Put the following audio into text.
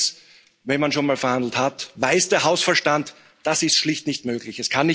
Allerdings, wenn man schon mal verhandelt hat, weiß der Hausverstand Das ist schlicht nicht möglich.